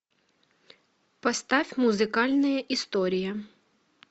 поставь музыкальные истории